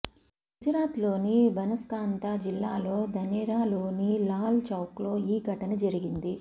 గుజరాత్లోని భనస్కాంతా జిల్లాలో ధనేరాలోని లాల్ చౌక్లో ఈ ఘటన జరిగింది